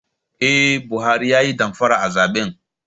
Eh Buhari ya Yi damfara a zaben.